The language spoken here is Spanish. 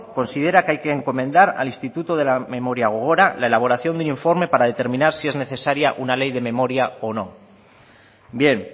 considera que hay que encomendar al instituto de la memoria gogora la elaboración de un informe para determinar si es necesaria una ley de memoria o no bien